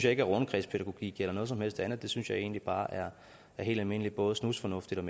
ikke er rundkredspædagogik eller noget som helst andet det synes jeg egentlig bare er helt almindeligt både snusfornuftigt